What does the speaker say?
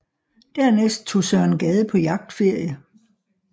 Dernæst tog Søren Gade på jagtferie